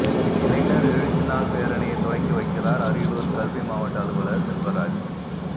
இளைஞா் எழுச்சி நாள் பேரணியை தொடக்கி வைக்கிறாா் அரியலூா் கல்வி மாவட்ட அலுவலா் செல்வராஜ்